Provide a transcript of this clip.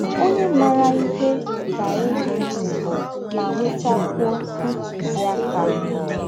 Ọnye maara ihe ga - ege ntị ma nwetakwụọ ntụziaka. ”